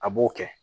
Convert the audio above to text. A b'o kɛ